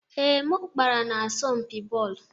Ee, m gbara n'asọmpi bọọlụ.